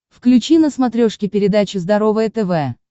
включи на смотрешке передачу здоровое тв